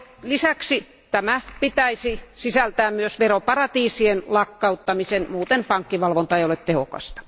Lisäksi tähän pitäisi sisältyä myös veroparatiisien lakkauttaminen, muuten pankkivalvonta ei ole tehokasta.